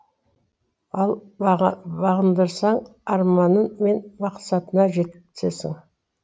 ал бағындырсаң арманың мен мақсатыңа жетесің